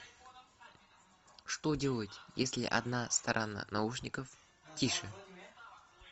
что делать если одна сторона наушников тише